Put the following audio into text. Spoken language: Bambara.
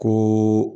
Ni